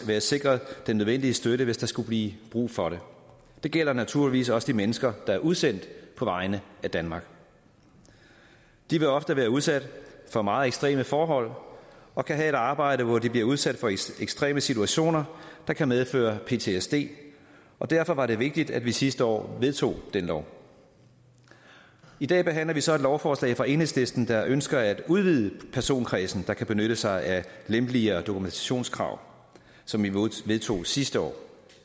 være sikret den nødvendige støtte hvis der skulle blive brug for det gælder naturligvis også de mennesker der er udsendt på vegne af danmark de vil ofte være udsat for meget ekstreme forhold og kan have et arbejde hvor de bliver udsat for ekstreme situationer der kan medføre ptsd og derfor var det vigtigt at vi sidste år vedtog den lov i dag behandler vi så et lovforslag fra enhedslisten der ønsker at udvide personkredsen der kan benytte sig af de lempeligere dokumentationskrav som vi vedtog sidste år